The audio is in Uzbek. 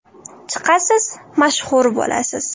Chiqasiz, mashhur bo‘lasiz.